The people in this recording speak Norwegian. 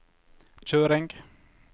kjøring